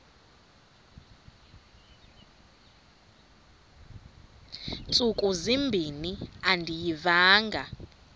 ntsuku zimbin andiyivanga